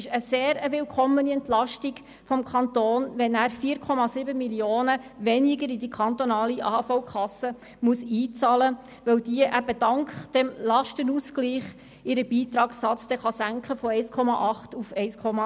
Es ist eine sehr willkommene Entlastung des Kantons, wenn er 4,7 Mio. Franken weniger in die kantonale AHV-Kasse einzahlen muss, da diese dank dem Lastenausgleich den Beitragssatz von 1,8 auf 1,6 wird senken können.